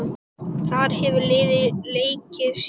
Þar hefur liðið leikið síðan.